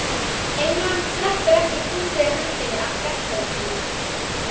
England sleppir ekki fúslega hendinni af fjársjóðum sínum.